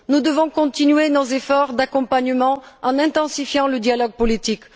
Nous devons continuer nos efforts d'accompagnement en intensifiant le dialogue politique.